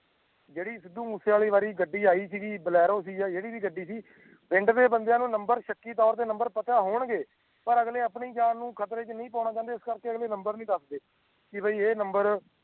ਜੇੜੀ ਸਿੱਧੂ ਮੂਸੇਵਾਲਾ ਵਾਰੀ ਗੱਡੀ ਆਈ ਗੀ ਬਲੈਰੋ ਸੀ ਯਾ ਜੇੜੀ ਵੀ ਗੱਡੀ ਸੀ ਪਿੰਡ ਦੇ ਬੰਦਿਆਂ ਨੂੰ ਨੰਬਰ ਸ਼ੱਕੀ ਤੋਰ ਤੇ ਨੰਬਰ ਪਤਾ ਹੋਣ ਗਏ ਪਰ ਅਗਲੇ ਆਪਣੀ ਜਾਣ ਨੂੰ ਖਤਰੇ ਚ ਨਹੀਂ ਪਾਣਾ ਚਾਦੇ ਇਸ ਕਰਕੇ ਅਗਲੇ ਨੰਬਰ ਨਹੀਂ ਦੱਸਦੇ ਕਿ ਬਾਈ ਏ ਨੰਬਰ